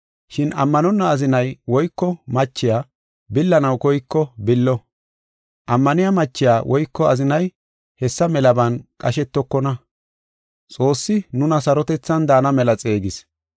Shin ammanonna azinay woyko machiya billanaw koyko billo. Ammaniya machiya woyko azinay hessa melaban qashetokona. Xoossi nuna sarotethan daana mela xeegis.